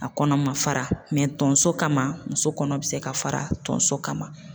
A kɔnɔ ma fara tonso kama muso kɔnɔ bɛ se ka fara tonso kama.